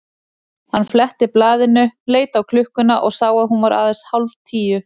Hann fletti blaðinu, leit á klukkuna og sá að hún var aðeins hálf tíu.